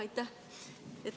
Aitäh!